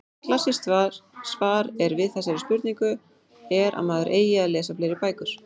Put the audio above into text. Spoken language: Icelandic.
Klassískt svar er við þessari spurningu er að maður eigi að lesa fleiri bækur.